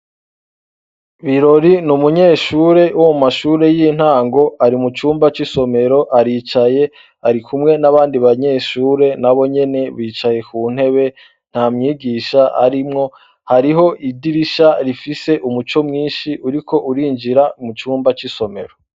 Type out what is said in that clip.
Birori ni umunyeshure wo mu mashure y'intango ari mucumba c'isomero aricaye arikumwe nabandi banyeshure nabo nyene bicaye ku ntebe nta mwigisha arimwo, hariho idirisha rifise umuco mwinshi uriko urinjira mucumba c'isomero.